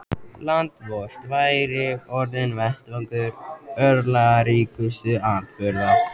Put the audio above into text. Land vort væri orðinn vettvangur örlagaríkustu atburða.